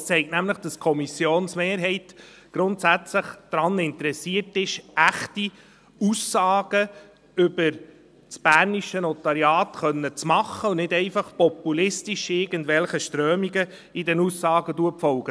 Es zeigt nämlich, dass die Kommissionsmehrheit grundsätzlich daran interessiert ist, echte Aussagen über das bernische Notariat machen zu können und nicht einfach populistisch irgendwelchen Strömungen in den Aussagen zu folgen.